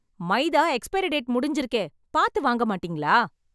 மைதா expiry date முடிஞ்சிருக்கே... பாத்து வாங்க மாட்டீங்களா?